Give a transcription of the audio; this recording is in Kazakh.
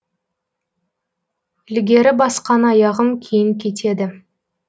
ілгері басқан аяғым кейін кетеді